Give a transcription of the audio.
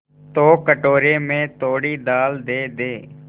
तो कटोरे में थोड़ी दाल दे दे